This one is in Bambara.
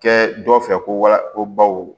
Kɛ dɔw fɛ ko wala ko baw